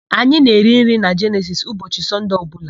Anyị na-eri nri na Jenesisi ụbọchị Sọnde ọbụla.